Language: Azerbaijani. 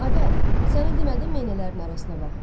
Adə, sənə demədim meynələrin arasına bax.